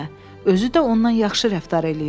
Özü də ondan yaxşı rəftar eləyin.